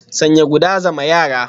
Sanya guda, zama yara